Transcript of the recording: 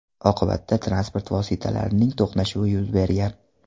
Oqibatda transport vositalarining to‘qnashuvi yuz bergan.